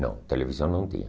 Não, televisão não tinha.